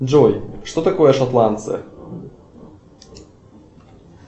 джой что такое шотландцы